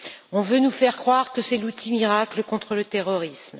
On veut nous faire croire que c'est l'outil miracle contre le terrorisme.